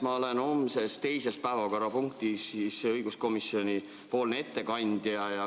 Ma olen homme teises päevakorrapunktis õiguskomisjoni ettekandja.